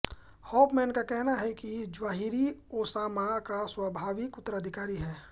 Hoffman का कहना है ज़्वाहिरी ओसामा का स्वाभाविक उत्तराधिकारी है